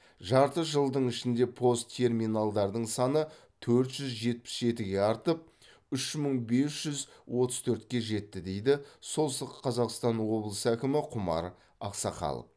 жарты жылдың ішінде пост терминалдардың саны төрт жүз жетпіс жетіге артып үш мың бес жүз отыз төртке жетті дейді солтүстік қазақстан облысы әкімі құмаров ақсақал